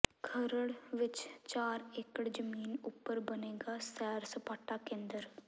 ਖਰੜ ਵਿਚ ਚਾਰ ਏਕੜ ਜ਼ਮੀਨ ਉਪਰ ਬਣੇਗਾ ਸੈਰ ਸਪਾਟਾ ਕੇਂਦਰ